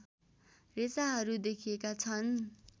रेसाहरू देखिएका छन्